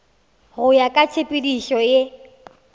go ya ka tshepedišo ye